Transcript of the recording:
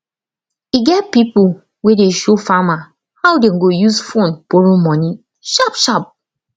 e get pipo wey de show farmer how dem go use phone borrow money sharpsharp